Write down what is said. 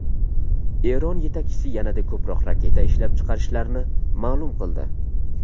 Eron yetakchisi yanada ko‘proq raketa ishlab chiqarishlarini ma’lum qildi.